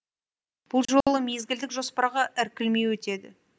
бұл жолы мезгілдік жоспарға іркілмей өтеді